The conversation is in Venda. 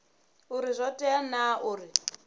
uri zwo tea naa uri